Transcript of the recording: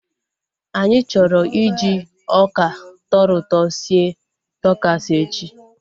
Anyị chọrọ iji ọka tọrọ ụtọ sie takos echi